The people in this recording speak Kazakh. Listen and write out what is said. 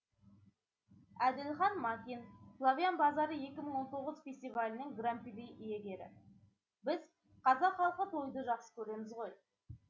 әділхан макин славян базары екі мың он тоғыз фестивалінің гран при иегері біз қазақ халқы тойды жақсы көреміз ғой